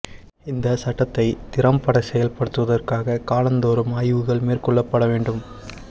இந்தச் சட்டத்தைத் திறம்படச் செயல்படுத்துவதற்காகக் காலந் தோறும் ஆய்வுகள் மேற்கொள்ளப்பட வேண்டும்